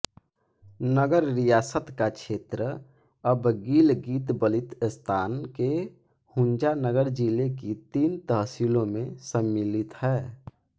नगर रियासत का क्षेत्र अब गिलगितबल्तिस्तान के हुन्ज़ानगर ज़िले की तीन तहसीलों में सम्मिलित है